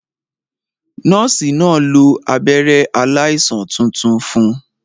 Nọ́ọ̀sì náà lo abẹ́rẹ́ aláìsàn tuntun fun